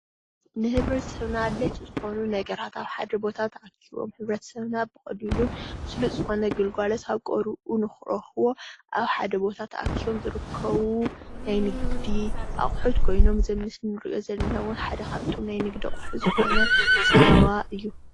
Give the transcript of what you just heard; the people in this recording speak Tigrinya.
ንህብረተሰብና ኣድለይቲ ዝኾኑ ነገራት ኣብ ሓደ ቦታ ተኣኪቦም ሕብረተሰብና ብቀሊሉን ሰሉጥ ዝኾነ ግልጋሎት ኣብ ቀረብኡ ንክረክቦ ኣብ ሓደ ቦታ ተኣኪቦም ዝርከቡ ናይ ንግዲ ኣቁሑት ኾይኖም እዙ ኣብ ምስሊ እንሪኦ ዘለና ድማ ሓደ ካፍቶም ናይ ንግዲ ኣቁሑ ዝኮነ ፀባ እዩ።